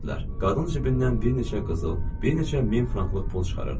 Qadın cibindən bir neçə qızıl, bir neçə min franklıq pul çıxarırdı.